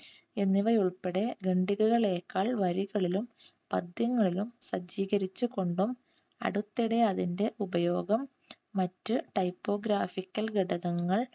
എന്നിവ ഉൾപ്പെടെ വരികളിലും പദ്യങ്ങളിലും സജ്ജീകരിച്ചു കൊണ്ടും അടുത്തിടെ അതിൻറെ ഉപയോഗം മറ്റ് typographical